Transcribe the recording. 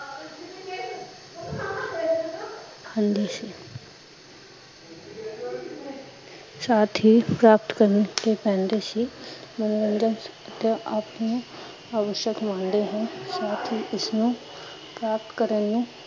ਹੁੰਦੀ ਸੀ ਸਾਥ ਹੀਂ ਪ੍ਰਾਪਤ ਕਰਨੇ ਹੀਂ ਪੈਂਦੇ ਸੀ ਯਾ ਆਪਣੇ ਆਵੱਸ਼ਕ ਮਾਣਦੇ ਹੈ, ਇਸਨੂੰ ਪ੍ਰਾਪਤ ਕਰਨ ਨੂੰ